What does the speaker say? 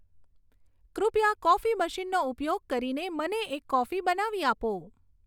કૃપયા કોફી મશીનનો ઉપયોગ કરીને મને એક કોફી બનાવી આપો